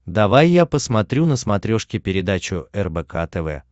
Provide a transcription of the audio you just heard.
давай я посмотрю на смотрешке передачу рбк тв